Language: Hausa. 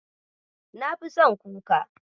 Nafi son kuka.